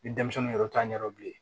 Ni denmisɛnnin yɛrɛ t'a ɲɛdɔn bilen